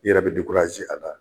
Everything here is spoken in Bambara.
I yɛrɛ be a la